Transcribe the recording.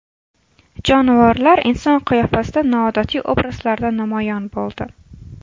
Jonivorlar inson qiyofasida noodatiy obrazlarda namoyon bo‘ldi.